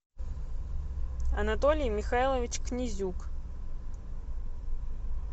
анатолий михайлович князюк